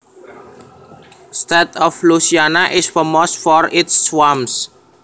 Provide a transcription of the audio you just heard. state of Louisiana is famous for its swamps